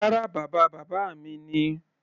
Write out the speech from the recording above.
Rárá, bàba bàbá mi ni.